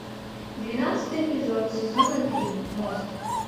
двенадцатый эпизод сезона три мост